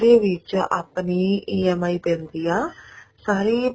ਉਹਦੇ ਵਿੱਚ ਆਪਣੀ EMI ਪੈਂਦੀ ਆ ਸਾਰੀ